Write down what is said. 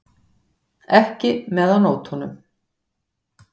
Ekki með á nótunum.